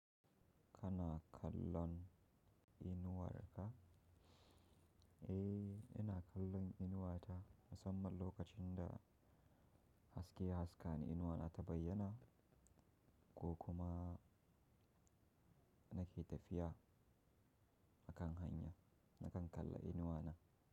Kana kallon, inuwar ka? Eh, ina kallon inuwata musamman lokacin da, haske haska ne inuwata bayyana ko kuma nake tafiya, a kan hanya, na kan kalla inuwana.